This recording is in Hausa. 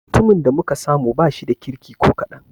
Mutumin da muka samu ba shida kirki ko kaɗan.